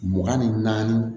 Mugan ni naani